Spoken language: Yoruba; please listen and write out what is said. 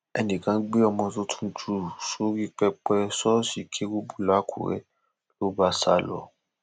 ẹnìkan gbé ọmọ tuntun jù sórí pẹpẹ ṣọọṣì kérúbù làkùrẹ ló bá sá lọ